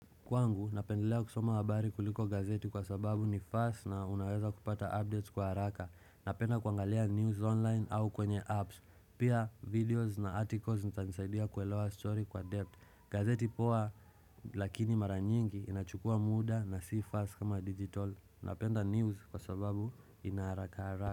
Kwangu, napendelea kusoma habari kuliko gazeti kwa sababu ni fast na unaweza kupata updates kwa haraka. Napenda kuangalia news online au kwenye apps. Pia videos na articles zitanisaidia kuelewa story kwa depth. Gazeti poa lakini mara nyingi inachukua muda na si fast kama digital. Napenda news kwa sababu ina haraka haraka.